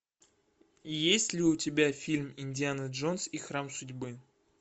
есть ли у тебя фильм индиана джонс и храм судьбы